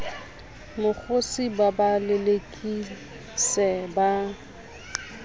mokgosi ba ba lelekise ba